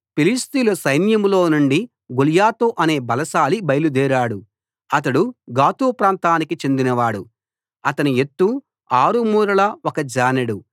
ఫిలిష్తీయుల సైన్యంలోనుండి గొల్యాతు అనే బలశాలి బయలుదేరాడు అతడు గాతు ప్రాంతానికి చెందినవాడు అతని ఎత్తు ఆరు మూరల ఒక జానెడు